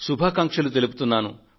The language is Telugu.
శుభాకాంక్షలు అందజేస్తున్నాను